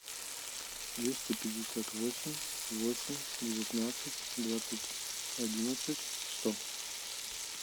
двести пятьдесят восемь восемь девятнадцать двадцать одиннадцать сто